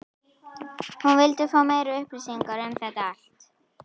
hún vildi fá meiri upplýsingar um þetta allt.